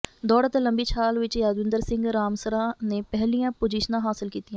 ਦੌੜ ਅਤੇ ਲੰਬੀ ਛਾਲ ਵਿਚ ਯਾਦਵਿੰਦਰ ਸਿੰਘ ਰਾਮਸਰਾ ਨੇ ਪਹਿਲੀਆਂ ਪੁਜ਼ੀਸ਼ਨਾਂ ਹਾਸਲ ਕੀਤੀਆਂ